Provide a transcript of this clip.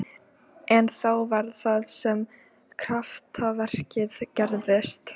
En þá var það sem kraftaverkið gerðist.